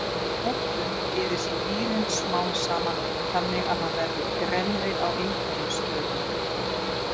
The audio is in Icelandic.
Við notkun eyðist vírinn smám saman þannig að hann verður grennri á einhverjum stöðum.